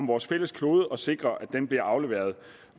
vores fælles klode og sikrer at den bliver afleveret